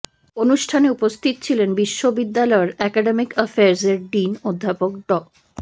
অনুষ্ঠানে উপস্থিত ছিলেন বিশ্ববিদ্যালয়ের অ্যাকাডেমিক অ্যাফেয়ার্সের ডিন অধ্যাপক ড